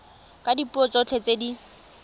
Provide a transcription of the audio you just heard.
ka dipuo tsotlhe tse di